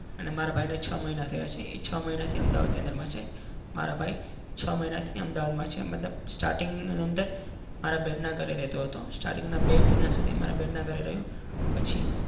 અને મારા ભાઈને છ મહિના રહ્યા છીએ છ મહિનાથી અમદાવાદની અંદરમાં છે. મારા ભાઈ છ મહિનાથી અમદાવાદમાં છે. મતલબ starting ની અંદર મારી બેન ના ઘરે રહેતો હતો. starting ના બે મહિના સુધી મારા બેન ના ઘરે રહ્યો પછી